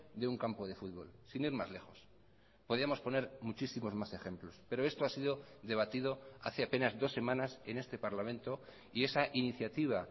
de un campo de fútbol sin ir más lejos podíamos poner muchísimos más ejemplos pero esto ha sido debatido hace apenas dos semanas en este parlamento y esa iniciativa